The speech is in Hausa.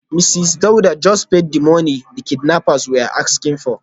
Mrs Dauda just paid the money the kidnappers were asking for.